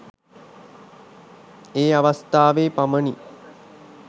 ඒ අවස්ථාවේ පමණි.